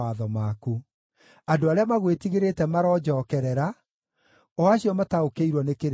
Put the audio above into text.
Andũ arĩa magwĩtigĩrĩte maronjookerera, o acio mataũkĩirwo nĩ kĩrĩra gĩaku.